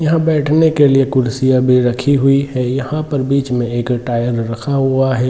यहाँ बैठने के लिए कुर्सियाँ भी रखी हुई है। यहाँ पर बीच मे एक टायर रखा हुआ है।